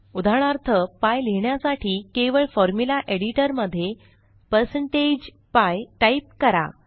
उदाहरणार्थ पीआय लिहिण्यासाठी केवळ फॉर्म्युला Editorमध्ये 160pi टाइप करा